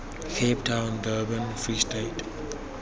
cape town durban free state